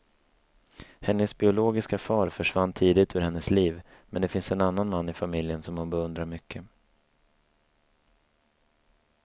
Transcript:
Hennes biologiska far försvann tidigt ur hennes liv, men det finns en annan man i familjen som hon beundrar mycket.